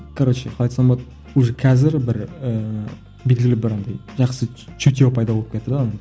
короче қалай айтсам болады уже қазір бір ііі белгілі бір андай жақсы чутье пайда болып кетті де